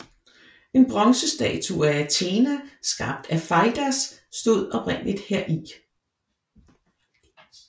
En bronzestatue af Athena skabt af Feidias stod oprindeligt heri